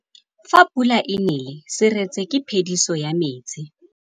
Fa pula e nelê serêtsê ke phêdisô ya metsi.